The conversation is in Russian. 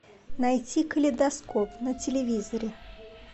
найти калейдоскоп на телевизоре